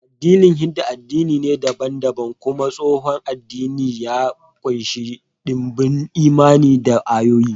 Addinin Hindu, addini dabam-dabam kuma tsohon addini, ya ƙunshi ɗimbin imani da ayyuka